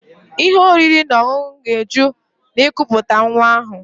Ihe oriri na ọṅụṅụ ga-eju na ikuputa nwa ahụ